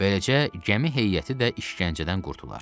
Beləcə, gəmi heyəti də işgəncədən qurtular.